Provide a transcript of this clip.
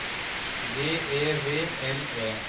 V E V L E